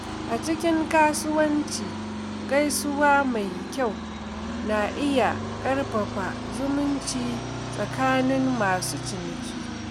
A cikin kasuwanci, gaisuwa mai kyau na iya ƙarfafa zumunci tsakanin masu ciniki.